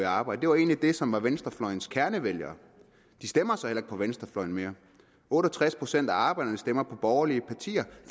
arbejde det var egentlig dem som var venstrefløjens kernevælgere de stemmer så heller ikke på venstrefløjen mere otte og tres procent af arbejderne stemmer på borgerlige partier